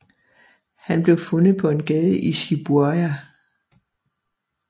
Han blev fundet på en gade i Shibuya